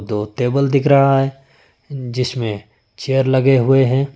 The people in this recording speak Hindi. टेबल दिख रहा है जिसमें चेयर लगे हुए हैं।